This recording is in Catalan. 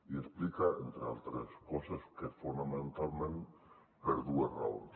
i explica entre altres coses que fonamentalment per dues raons